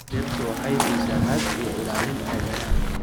Dhirtu waxay siisaa hadh iyo ilaalin aadanaha.